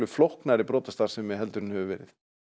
flóknari brotastarfsemi en hefur verið